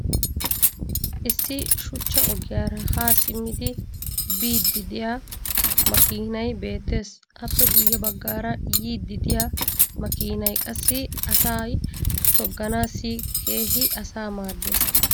issi shuchcha ogiyaara haa simmidi biidi diya makkiinay beetees. appe guye bagaara yiidi diya makkiinay qassi asay togganaassi keehi asaa maadees.